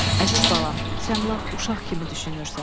Əziz balam, sən lap uşaq kimi düşünürsən.